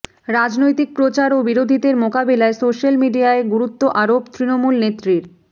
রাজনৈতিক প্রচার ও বিরোধীদের মোকাবিলায় সোশ্যাল মিডিয়ায় গুরুত্ব আরোপ তৃণমূল নেত্রীর